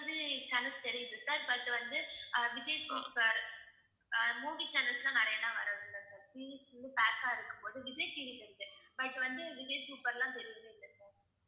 மாதிரி channels தெரியுது sir but வந்து அஹ் விஜய் சூப்பர் அஹ் movie channels லாம் நிறைய எல்லாம் வரதில்லை sir pack ஆ இருக்கும் போது விஜய் டிவி வருது but வந்து விஜய் சூப்பர்லாம் தெரியவே இல்லை sir